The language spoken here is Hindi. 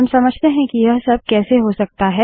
अब समझते हैं कि यह सब कैसे हो सकता है